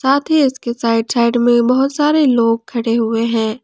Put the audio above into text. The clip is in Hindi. साथ ही इसके साइड साइड में बहुत सारे लोग खड़े हुए हैं।